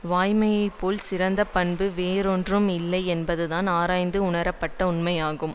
வாய்மையைப் போல் சிறந்த பண்பு வேறொன்றுமே இல்லை என்பதுதான் ஆராய்ந்து உணரப்பட்ட உண்மையாகும்